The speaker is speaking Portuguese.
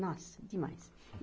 Nossa, demais.